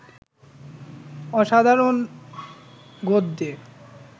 অসাধারণ গদ্যে